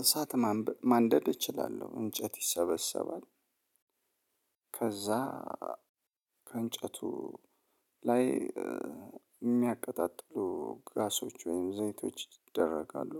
እሳት ማንደድ እችላለሁ እንጨት ይሰበሰባል። ከዛ ከእንጨቱ ላይ የሚያቀጣጥሉ ጋዞች ወይም ዘይቶች ይደረጋሉ።